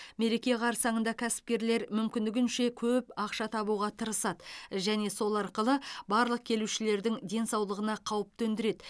мереке қарсаңында кәсіпкерлер мүмкіндігінше көп ақша табуға тырысады және сол арқылы барлық келушілердің денсаулығына қауіп төндіреді